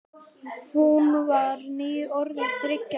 Hún var nýorðin þriggja ára.